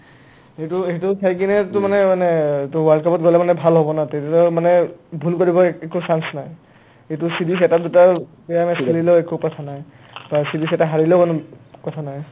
সেটো সেটো চাই কিনে to মানে মানে তোমাৰ world cup ত গ'লে মানে ভাল হ'ব না মানে ভূল কৰিব একো chance নাই ইটো series এটা-দুটা বেয়া match খেলিলেও একো কথা নাই বা series এটা হাৰিলেও কোনো কথা নাই